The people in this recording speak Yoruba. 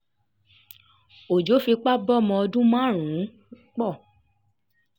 ọjọ́ fipá bọ́mọ ọdún márùn-ún pọ̀